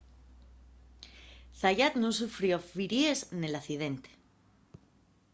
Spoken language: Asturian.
zayat nun sufrió firíes nel accidente